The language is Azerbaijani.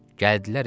Gəldilər evə.